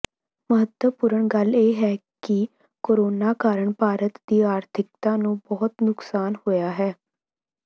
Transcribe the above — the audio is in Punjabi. ਮਹੱਤਵਪੂਰਣ ਗੱਲ ਇਹ ਹੈ ਕਿ ਕੋਰੋਨਾ ਕਾਰਨ ਭਾਰਤ ਦੀ ਆਰਥਿਕਤਾ ਨੂੰ ਬਹੁਤ ਨੁਕਸਾਨ ਹੋਇਆ ਹੈ